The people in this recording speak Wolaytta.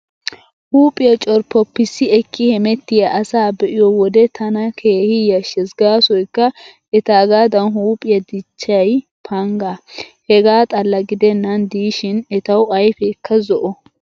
Huuphiyaa corppoppissi ekki hemettiyaa asaa be'iyo wode tana keehi yashshees gaasoykka etaagaadan huuphiyaa dichchiyay pangaa. Hegaa xalla gidennan diishin etawu ayfeekka zo'o.